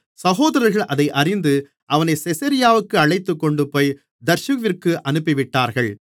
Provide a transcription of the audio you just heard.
சகோதரர்கள் அதை அறிந்து அவனைச் செசரியாவிற்கு அழைத்துக்கொண்டுபோய் தர்சுவிற்கு அனுப்பிவிட்டார்கள்